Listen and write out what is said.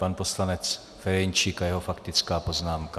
Pan poslanec Ferjenčík a jeho faktická poznámka.